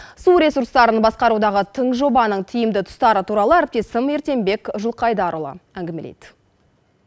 су ресурстарын басқарудағы тың жобаның тиімді тұстары туралы әріптесім ерденбек жылқайдарұлы әңгімелейді